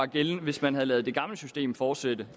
gældende hvis man havde ladet det gamle system fortsætte